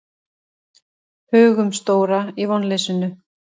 Hugumstóra í vonleysinu.